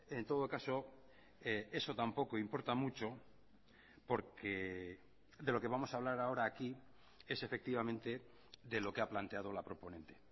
en todo caso eso tampoco importa mucho porque de lo que vamos a hablar ahora aquí es efectivamente de lo que ha planteado la proponente